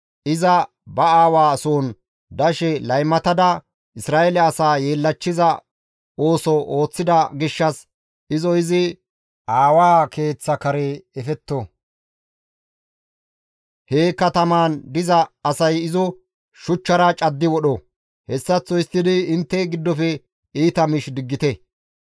iza ba aawa soon dashe laymatada Isra7eele asaa yeellachchiza ooso ooththida gishshas izo izi aawa keeththa kare efetto; he katamaan diza asay izo shuchchara caddi wodho; hessaththo histtidi intte giddofe iita miish diggite.